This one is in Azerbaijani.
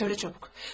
Söylə çabuk.